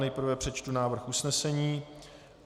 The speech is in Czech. Nejprve přečtu návrh usnesení.